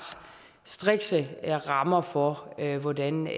strikse rammer for hvordan